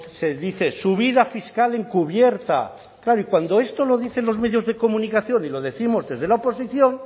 se dice subida fiscal encubierta claro y cuando esto lo dicen los medios de comunicación y lo décimos desde la oposición